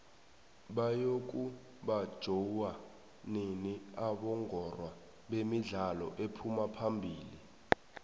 bayoku banjoua nini abongorwa bemidlalo ephuma phamili